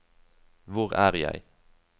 hvor er jeg